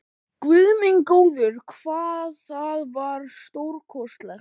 Guð minn góður, hvað það var stórkostlegt!